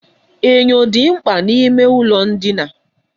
Enyo dị mkpa n'ime ụlọ ndina.